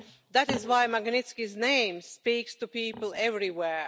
That is why Magnitsky's name speaks to people everywhere.